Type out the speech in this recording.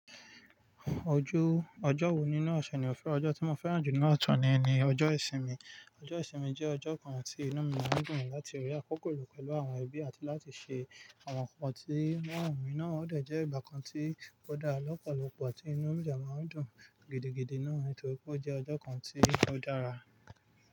Ojú ọjọ́ wo nínú ọ̀ṣẹ̀ ni o fẹ́? Ọjọ́ tí mo fẹ́ràn jù ninu òsè ni, ni ọjọ́ ìsinmi. Ọjọ́ ìsinmi jẹ́ ọjọ́ kan tí inú mí máa ń dùn láti rí àkókò lo pẹ̀lú àwọn ẹbí àti láti ṣe àwọn nǹkan tí ń rọrùn mi. Náà ó dẹ̀ jẹ́ ìgbà kan tí ó dára lọ́pọ̀lọpọ̀ tí inú mí dè máa ń dùn gidigidi náà. Nítorí pé ó jẹ́ ọjọ́ kan tí kò dára.